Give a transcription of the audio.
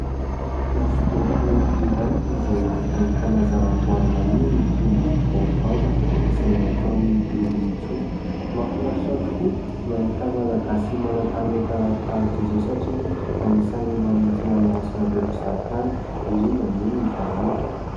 Hosodoko iray izay ahitana zava-boahary maniry toy ny baobaba izay nataon'i Nirintsoa, mahafinaritra tokoa ny mahita malagasy manan-talenta tahak'izao satria anisany manintona ny mason'ireo mpizahatany indrindra moa ny vahiny.